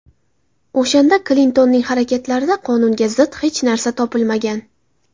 O‘shanda Klintonning harakatlarida qonunga zid hech narsa topilmagan.